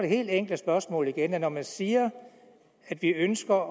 helt enkle spørgsmål igen at når man siger at vi ønsker